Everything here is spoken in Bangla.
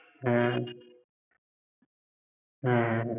হ্যাঁ হ্যাঁ